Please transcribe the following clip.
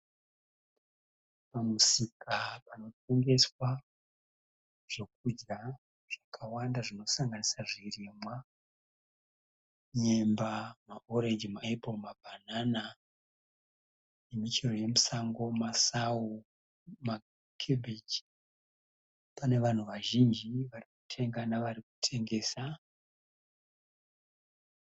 Pamusika panotengeswa zvekudya zvakawanda zvinosanganisira zvirimwa zvinoti nyemba , ma orange, ma apple, mabanana nemichero yemusango masawu ne cabbage. Pane vanhu vazhinji varikutenga navari kutengesa.